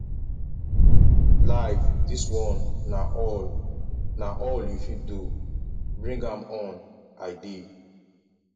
life dis one na all na all you fit do bring am on i dey